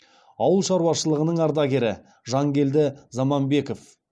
ауылшаруашылығының ардагері жангелді заманбеков